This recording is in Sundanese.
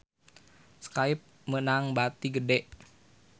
Skype meunang bati gede